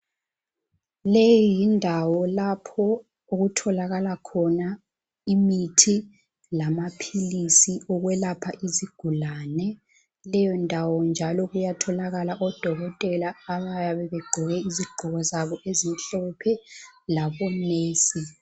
Leyi yindawo lapho okutholakala khona imithi lamaphilisi okwelapha isigulane. Leyondawo njalo kuyatholakala odokotela abayabe begqoke izigqoko zabo ezimhlophe labonesi.